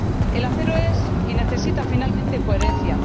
El acero es y necesita, finalmente, coherencia.